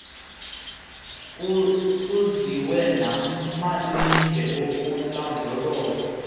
kuziwe namalinge okulondoloza